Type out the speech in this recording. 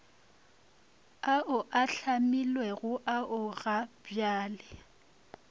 ao a hlomilwego ao gabjale